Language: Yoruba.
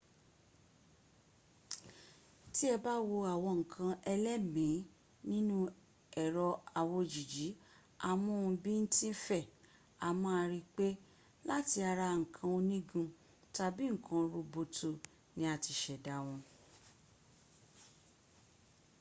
tí ẹ bá wo àwọn nǹkan ẹlẹ́mìí nínú ẹ̀rọ-awòjìji-amóhun-bín-tín-fẹ̀ a máa rí pé láti ara nnkan onígun tàbí nǹkan roboto ni a ti ṣẹ̀dá wọ